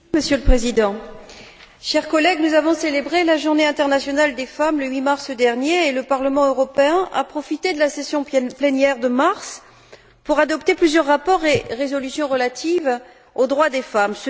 Monsieur le Président, chers collègues, nous avons célébré la Journée internationale des femmes le 8 mars dernier et le Parlement européen a profité de la session plénière de mars pour adopter plusieurs rapports et résolutions relatifs aux droits des femmes.